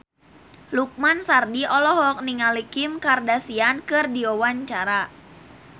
Lukman Sardi olohok ningali Kim Kardashian keur diwawancara